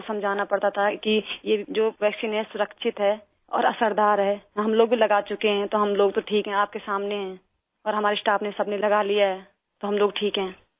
لوگوں کو سمجھانا پڑتا تھا، کہ یہ جو ویکسین ہے محفوظ ہے، اور اثر دار ہے، ہم لوگ بھی لگا چکے ہیں، تو ہم لوگ تو ٹھیک ہیں، آپ کے سامنے ہیں، اور ہمارے اسٹاف نے، سب نے، لگا لیا ہے، تو ہم لوگ ٹھیک ہیں